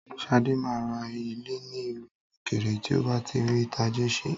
Sadé máa ra ilé ní ìlú òkèèrè tí ó bá ti rí tajé ṣe